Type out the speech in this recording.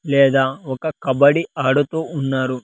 లేదా ఒక కబడ్డీ ఆడుతూ ఉన్నారు.